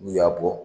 N'u y'a bɔ